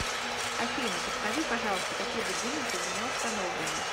афина подскажи пожалуйста какие будильники у меня установлены